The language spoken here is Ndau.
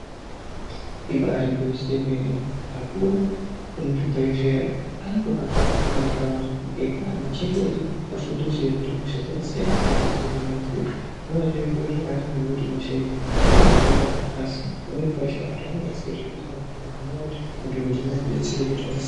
Ibari gwinyiso yemene akuru emuzvibhehleya umu anotohamba muma ntaraunda eyipa anhu chenjedzo nefundiso yekuti hosha dzakasiyana siyana dzino hinwa sei zvinova zviri zviro zvakanaka ngekuti hosha idzi dzinohinika asi pamweni pacho anenge asingatoziyi kuti ane hosha.